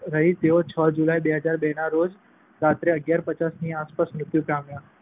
રહી. તેઓ છ જુલાઈ, બે હજાર બે, ના રોજ રાત્રે અગિયાર પચાસે ની આસપાસ મૃત્યુ પામ્યા.